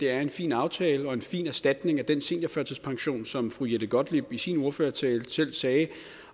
er en fin aftale og en fin erstatning for den seniorførtidspension som fru jette gottlieb i sin ordførertale selv sagde